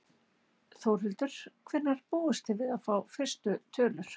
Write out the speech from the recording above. Þórhildur: Hvenær búist þið við að fá fyrstu tölur?